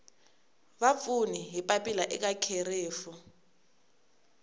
vapfuni hi papila eka kherefu